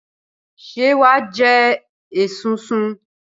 Ṣé wà á jẹ esunsun?